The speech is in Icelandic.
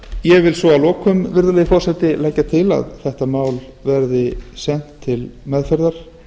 ég vil svo að lokum virðulegi forseti leggja til að þetta mál verði sent til meðferðar